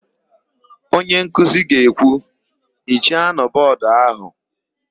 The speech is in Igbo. Onyenkuzi ga-ekwu, "hichanụ bọọdụ áhụ̀"!